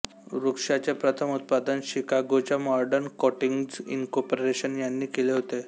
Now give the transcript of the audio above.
वृक्षाचे प्रथम उत्पादन शिकागोच्या मॉडर्न कोटिंग्ज इंनकोर्पोरेशन यांनी केले होते